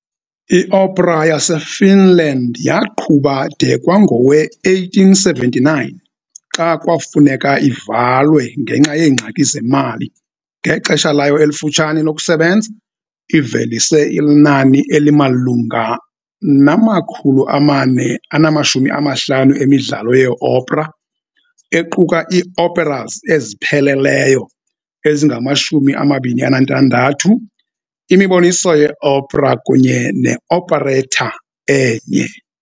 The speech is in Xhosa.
Iopera yaseFinland yaqhuba de kwangowe-1879, xa kwafuneka ivalwe ngenxa yeengxaki zemali. Ngexesha layo elifutshane lokusebenza, ivelise inani elimalunga nama-450 emidlalo yeopera, equka iioperas ezipheleleyo ezingama-26, imiboniso yeopera kunye ne-operetta enye.